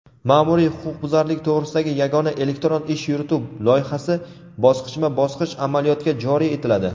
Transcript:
"Maʼmuriy huquqbuzarlik to‘g‘risida yagona elektron ish yurituv" loyihasi bosqichma-bosqich amaliyotga joriy etiladi.